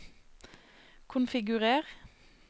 konfigurer